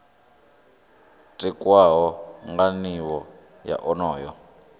tikwaho nga nivho ya onoyo